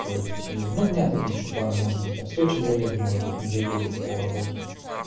то есть и ну у меня там есть ещё планы может быть я в сочи заеду может быть не заеду по работе